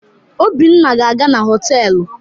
Obinna ga-aga na họtelu.